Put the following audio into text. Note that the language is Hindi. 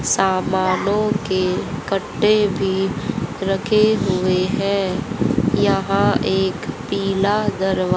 सामानों के कट्टे भी रखे हुए हैं यहां एक पीला दरवाजा--